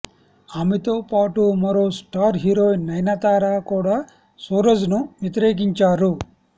ఆమెతో పాటు మరో స్టార్ హీరోయిన్ నయనతార కూడా సురాజ్ ను వ్యతిరేకించారు